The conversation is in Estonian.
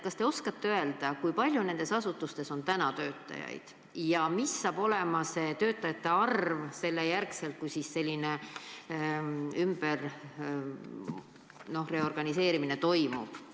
Kas te oskate öelda, kui palju nendes asutustes on praegu töötajaid ja mis saab olema töötajate arv siis, kui see ümberorganiseerimine on toimunud?